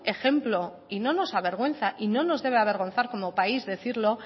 ejemplo y no nos avergüenza y no nos debe avergonzar como país decirlo